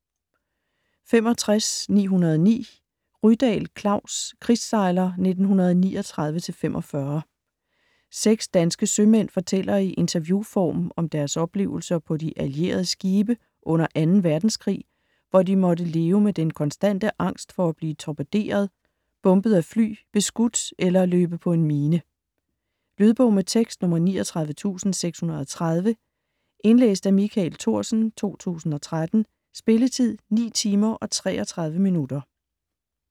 65.909 Rydahl, Klaus: Krigssejler 1939-45 Seks danske sømænd fortæller i interviewform om deres oplevelser på de allierede skibe under 2. verdenskrig, hvor de måtte leve med den konstante angst for at blive torpederet, bombet af fly, beskudt eller løbe på en mine. Lydbog med tekst 39630 Indlæst af Michael Thorsen, 2013. Spilletid: 9 timer, 33 minutter.